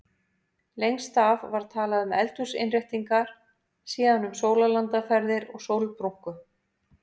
Lengst af var talað um eldhúsinnréttingar, síðan um sólarlandaferðir og sólbrúnku.